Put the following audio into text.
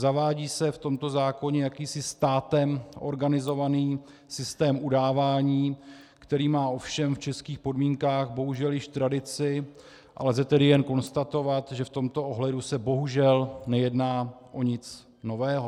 Zavádí se v tomto zákoně jakýsi státem organizovaný systém udávání, který má ovšem v českých podmínkách bohužel již tradici, a lze tedy jen konstatovat, že v tomto ohledu se bohužel nejedná o nic nového.